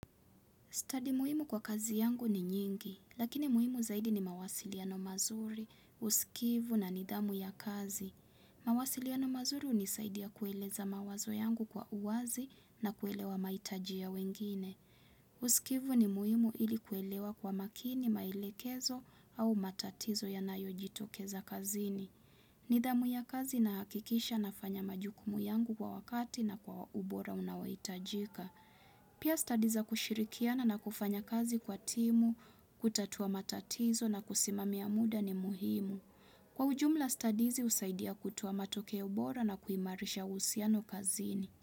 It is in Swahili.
Study muhimu kwa kazi yangu ni nyingi, lakini muhimu zaidi ni mawasiliano mazuri, usikivu na nidhamu ya kazi. Mawasiliano mazuri hunisaidia kueleza mawazo yangu kwa uwazi na kuelewa mahitajia ya wengine. Usikivu ni muhimu ili kuelewa kwa makini maelekezo au matatizo yanayojitokeza kazini. Nidhamu ya kazi nahakikisha nafanya majukumu yangu kwa wakati na kwa ubora unaohitajika. Pia study za kushirikiana na kufanya fanya kazi kwa timu, kutatuwa matatizo na kusimamia muda ni muhimu. Kwa ujumla study hizi husaidia kutoa matokeo bora na kuimarisha uhusiano kazini.